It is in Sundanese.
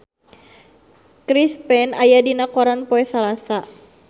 Chris Pane aya dina koran poe Salasa